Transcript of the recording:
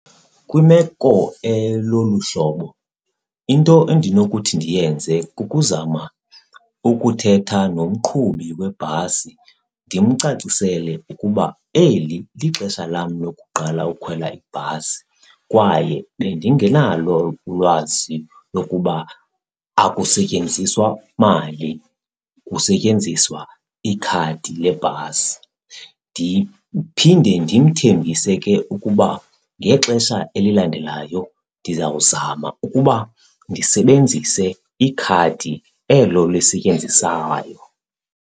Kwimeko elolu hlobo into endinokuthi ndiyenze kukuzama ukuthetha nomqhubi webhasi ndimcacisele ukuba eli lixesha lam lokuqala ukhwela ibhasi kwaye bendingenalo ulwazi lokuba akusetyenziswa mali, kusetyenziswa ikhadi lebhasi. Ndiphinde ndimthembise ke ukuba ngexesha elilandelayo ndizawuzama ukuba ndisebenzise ikhadi elo lisetyenziswayo.